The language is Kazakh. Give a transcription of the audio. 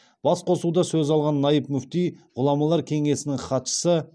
басқосуда сөз алған наиб мүфти ғұламалар кеңесінің хатшысы